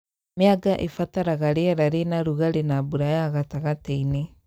Mĩanga ĩbataraga rĩera rĩna rũgarĩ na mbura ya gatagatĩ-inĩ